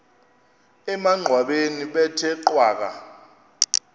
emangcwabeni bethe cwaka